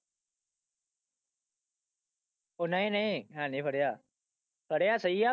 ਉਹ ਨਹੀਂ ਨਹੀਂ ਹੈਨੀ ਫੜਿਆ, ਫੜਿਆ ਸਹੀ ਆ,